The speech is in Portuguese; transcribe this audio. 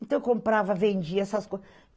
Então, eu comprava, vendia essas coisas.